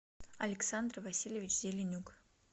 александр васильевич зеленюк